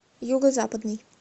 юго западный